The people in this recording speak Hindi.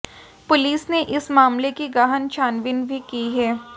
पुलिस ने इस मामले की गहन छानबीन भी की है